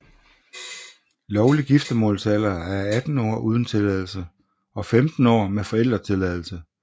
Lovlig giftemålsalder er 18 år uden tilladelse og 15 år med forældretilladelse